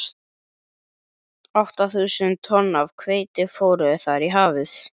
Átta þúsund tonn af hveiti fóru þar í hafið.